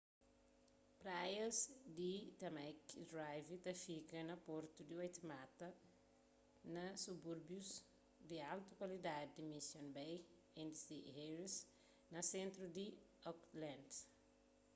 praias di tamaki drive ta fika na portu di waitemata na subúrbius di altu kualidadi di mission bay y st heliers na sentru di auckland